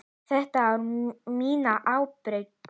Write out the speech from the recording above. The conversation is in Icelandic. Þetta er á mína ábyrgð.